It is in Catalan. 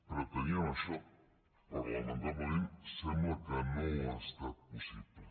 preteníem això però lamentablement sembla que no ha estat possible